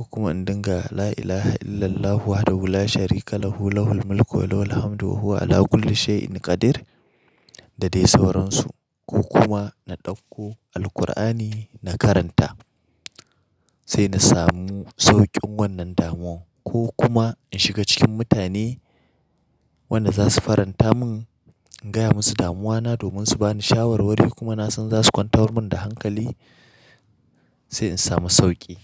ko kuma inda ga "La ilaha illallahu wahdahu la sharika lahu, lahul mulku wa lahul hamdu wa huwa 'ala kulli shayin qadir" da dai sauransu ko kuma na ɗauko Alkur'ani na karanta sai na samu sauƙin wannan damuwa ko kuma in shiga cikin mutane wanda za su faranta mun. In gaya musu damuwana domin su ba ni shawar wari kuma na san za su kwantar mun da hankali sai in samu sauƙi.